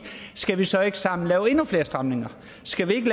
skal vi så ikke sammen lave endnu flere stramninger skal vi ikke